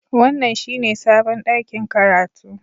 Wannan shine sabon ɗakin karatu